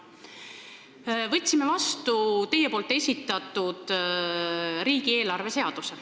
Võtsime vastu teie esitatud riigieelarve seaduse.